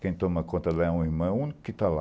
Quem toma conta lá é o irmão único que está lá.